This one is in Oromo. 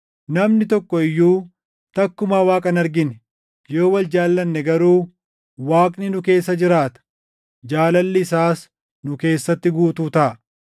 Namni tokko iyyuu takkumaa Waaqa hin argine; yoo wal jaallanne garuu Waaqni nu keessa jiraata; jaalalli isaas nu keessatti guutuu taʼa.